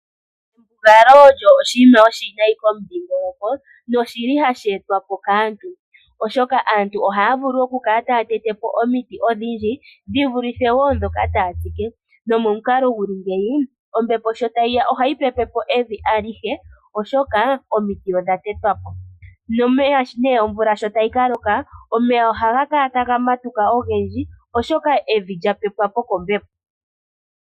Embugalo olyo oshinima oshiwinayi komudhiingoloko noshili hashi etwa po kaantu. Aantu ohaya vulu oku kala taya tete po omiti odhindji dhi vulithe wo ndhoka taya tsike. Nomomukalo guli ngeyi, ombepo sho tayi ya ohayi pepe po evi alihe oshoka omiti odha tetwa po. Nomeya omvula sho tayi ka loka, omeya ohaga kala taga matuka ogendji oshoka evi lya pepwa po kombepo.